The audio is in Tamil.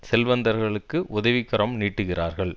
செல்வந்தர்களுக்கு உதவி கரம் நீட்டுகிறார்கள்